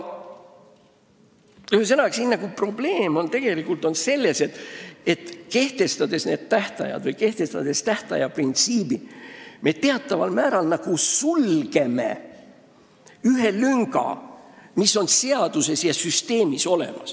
Ühesõnaga, asi on tegelikult selles, et kehtestades need tähtajad või tähtaja printsiibi, me teataval määral sulgeme ühe lünga, mis on seaduses ja süsteemis olemas.